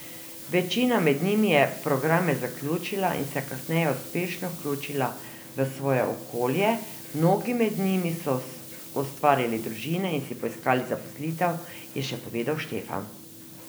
Večina med njimi je programe zaključila in se kasneje uspešno vključila v svoje okolje, mnogi med njimi so ustvarili družine in si poiskali zaposlitev, je še povedal Štefan.